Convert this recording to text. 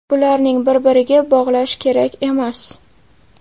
Bularni bir-biriga bog‘lash kerak emas”.